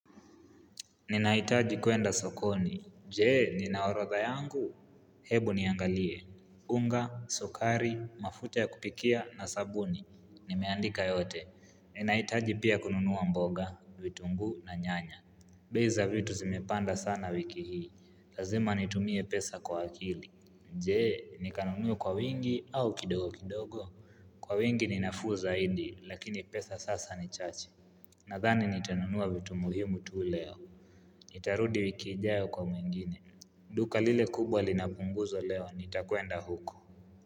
Ninahitaji kuenda sokoni. Je, ninaorodha yangu? Hebu niangalie. Unga, sukari, mafuta ya kupikia na sabuni. Nimeandika yote. Ninahitaji pia kununua mboga, vitungu na nyanya. Bei za vitu zimepanda sana wiki hii. Lazima nitumie pesa kwa akili. Je, nikanunue kwa wingi au kidogo kidogo? Kwa wingi ni nafuu zaidi, lakini pesa sasa ni chache. Nadhani nitanunua vitu muhimu tu leo. Nitarudi wik ijayo kwa mwingine duka lile kubwa lina punguzo leo nitakwenda huko.